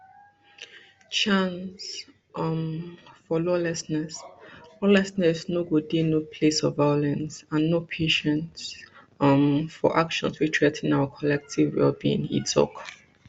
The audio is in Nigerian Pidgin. chance um for lawlessness lawlessness no go dey no place for violence and no patience um for actions wey threa ten our collective wellbeing e tok